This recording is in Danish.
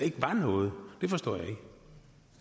var noget